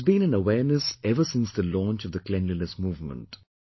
There has been an awareness ever since the launch of the Cleanliness Movement